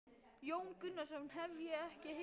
Jón Gunnarsson: Hef ég ekki heimild?